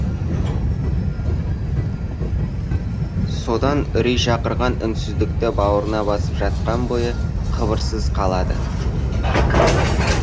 содан үрей шақырған үнсіздікті бауырына басып жатқан бойы қыбырсыз қалады